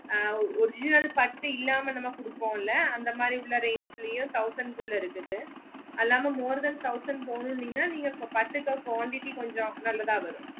original பத்தி இல்லமா நம்ம கூடுபோல அந்த மாதிரி range லயோ thousand குள்ள இருக்குது அல்லாமா more than thousand பொன்னோன்னிங்கன்னா நீங்க பாத்துக்க quantity கொஞ்ச abnormal லதா வரும்